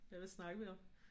Ja hvad snakkede vi om?